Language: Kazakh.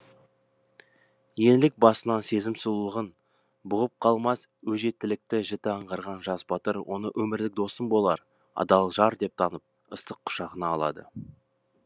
еңлік басынан сезім сұлулығын бұғып қалмас өжеттікті жіті аңғарған жас батыр оны өмірлік досым болар адал жар деп танып ыстық құшағына алады